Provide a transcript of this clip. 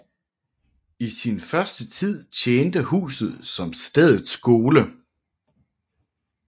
I sin første tid tjente huset som stedets skole